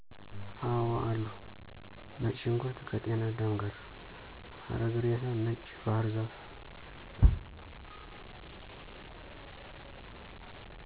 አወአሉ። ነጭ ሽንኩርት ከጤናዳም ጋር፣ አረግ ሬሳ፣ ነጭ ባሕር ዛፍ